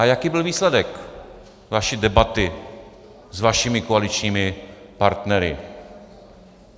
A jaký byl výsledek vaší debaty s vašimi koaličními partnery?